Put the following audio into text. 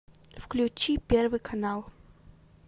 включи первый канал